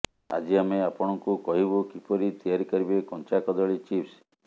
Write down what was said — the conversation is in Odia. ଆଜି ଆମେ ଆପଣଙ୍କୁ କହିବୁ କିପରି ତିଆରି କରିବେ କଞ୍ଚା କଦଳୀ ଚିପ୍ସ